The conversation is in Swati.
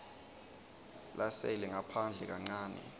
lasele ngaphandle kancane